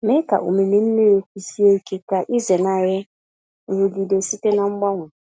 Mee ka omimi mmiri kwụsie ike ka ịzenarị nrụgide site na mgbanwe.